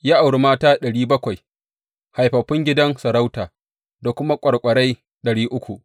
Ya auri mata ɗari bakwai, haifaffun gidan sarauta, da kuma ƙwarƙwarai ɗari uku.